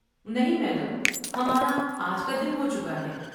نہیں، میڈم، ہمارا آج کا دن ہو چکا ہے۔